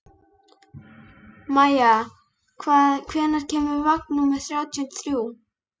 Maia, hvenær kemur vagn númer þrjátíu og þrjú?